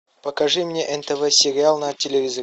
покажи мне нтв сериал на телевизоре